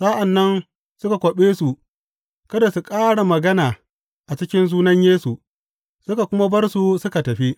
Sa’an nan suka kwaɓe su kada su ƙara magana a cikin sunan Yesu, suka kuma bar su suka tafi.